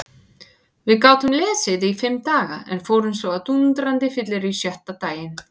Við gátum lesið í fimm daga en fórum svo á dúndrandi fyllerí sjötta daginn.